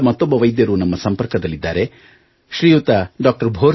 ಪುಣೆಯಿಂದ ಮತ್ತೊಬ್ಬ ವೈದ್ಯರು ನಮ್ಮ ಸಂಪರ್ಕದಲ್ಲಿದ್ದಾರೆ ಶ್ರೀಯುತ ಡಾ